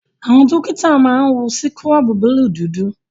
Àwọn dọ́kítà máa wọ síkúrọ̀bù búlùù dúdú.